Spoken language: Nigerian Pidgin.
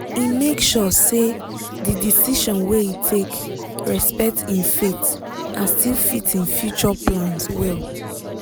e make sure say di decision wey e take respect im faith and still fit im future plans well.